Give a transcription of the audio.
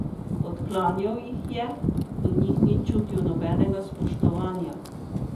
Odklanjal jih je, do njih ni čutil nobenega spoštovanja.